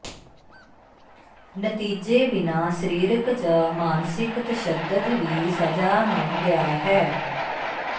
ਨਤੀਜੇ ਬਿਨਾ ਸਰੀਰਕ ਜ ਮਾਨਸਿਕ ਤਸ਼ੱਦਦ ਵੀ ਸਜ਼ਾ ਨਾ ਗਿਆ ਹੈ